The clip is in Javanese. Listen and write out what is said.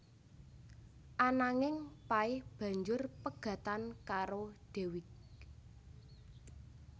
Ananging Pay banjur pegatan karo Dewiq